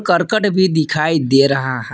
कर्कट भी दिखाई दे रहा है।